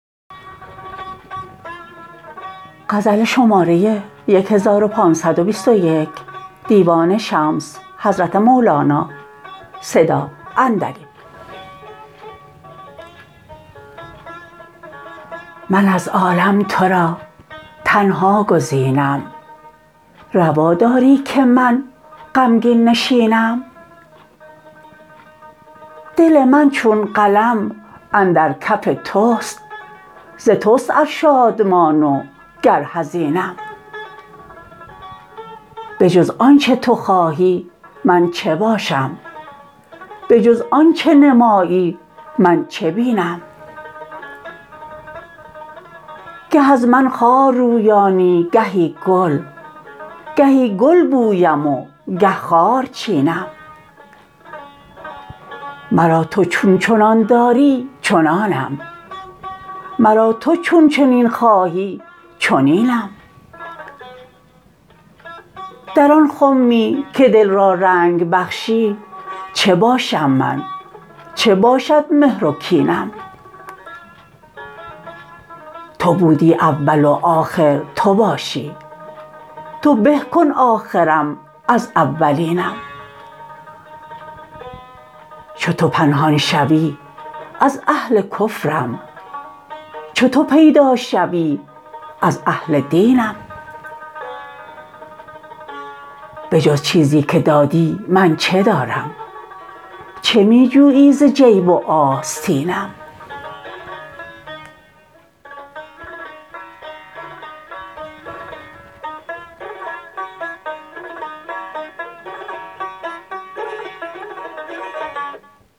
من از عالم تو را تنها گزینم روا داری که من غمگین نشینم دل من چون قلم اندر کف توست ز توست ار شادمان و گر حزینم به جز آنچه تو خواهی من چه باشم به جز آنچه نمایی من چه بینم گه از من خار رویانی گهی گل گهی گل بویم و گه خار چینم مرا تو چون چنان داری چنانم مرا تو چون چنین خواهی چنینم در آن خمی که دل را رنگ بخشی چه باشم من چه باشد مهر و کینم تو بودی اول و آخر تو باشی تو به کن آخرم از اولینم چو تو پنهان شوی از اهل کفرم چو تو پیدا شوی از اهل دینم به جز چیزی که دادی من چه دارم چه می جویی ز جیب و آستینم